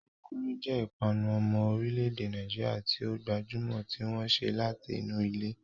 Kulikuli jẹ́ ìpanu ọmọ orílẹ̀-èdè Nàìjíríà tí ó gbajúmọ̀ tí wọ́n ṣe láti inú ilẹ̀.